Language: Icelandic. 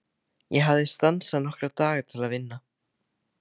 Ég hafði stansað nokkra daga til að vinna.